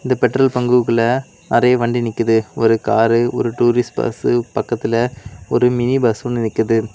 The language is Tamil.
அந்தப் பெட்ரோல் பங்க்கு உள்ள நிறைய வண்டி நிக்குது ஒரு காரு ஒரு டூரிஸ்ட் பஸ் பக்கத்துல ஒரு மினி பஸ் ஒன்னு நிக்குது.